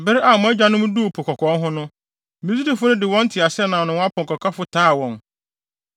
Bere a mo agyanom duu Po Kɔkɔɔ ho no, Misraimfo no de wɔn nteaseɛnam ne wɔn apɔnkɔkafo taa wɔn.